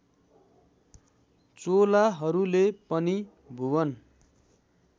चोलाहरूले पनि भुवन